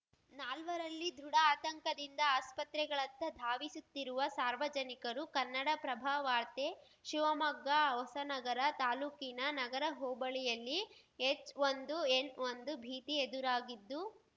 ನಾಲ್ವರಲ್ಲಿ ದೃಢ ಆತಂಕದಿಂದ ಆಸ್ಪತ್ರೆಗಳತ್ತ ಧಾವಿಸುತ್ತಿರುವ ಸಾರ್ವಜನಿಕರು ಕನ್ನಡಪ್ರಭವಾರ್ತೆ ಶಿವಮೊಗ್ಗ ಹೊಸನಗರ ತಾಲೂಕಿನ ನಗರ ಹೋಬಳಿಯಲ್ಲಿ ಎಚ್‌ಒಂದು ಎನ್‌ಒಂದು ಭೀತಿ ಎದುರಾಗಿದ್ದು